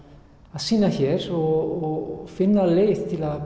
að sýna hér og finna leið til að